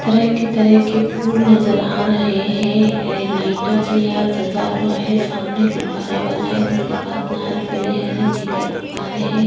तरह-तरह के फूल नज़र आ रहे हैं लाइटों से सजा हुआ है सामने गुब्बारे वाला हैं जिसका रंग लाल पीले हरे गुब्बारे है।